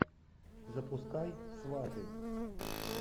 запускай сваты